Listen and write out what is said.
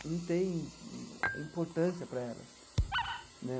não tem importância para elas né.